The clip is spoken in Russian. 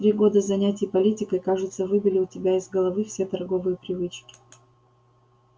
три года занятий политикой кажется выбили у тебя из головы все торговые привычки